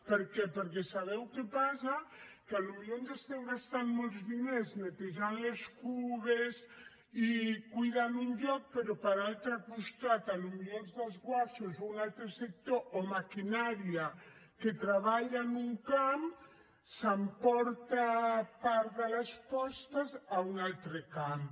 per què perquè sabeu què passa que potser ens estem gastant molts diners netejant les cisternes i cuidant un lloc però per l’altre costat potser als desguassos un altre sector o maquinària que treballa en un camp s’emporta part de les postes a un altre camp